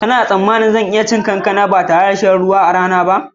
Kana tsammanin zan iya cin kankana ba tare da shan ruwa a rana ba?